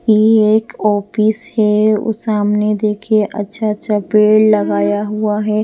ये एक ऑफिस है उसे हमने देखिए अच्छा अच्छा पेड़ लगाया हुआ है।